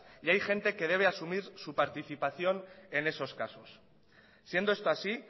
y hay gente que se debe asumir su participación en esos casos siendo esto así